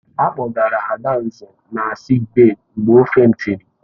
A kpọgara Adanze na sịịk bèyí mgbe ọ fèntịri.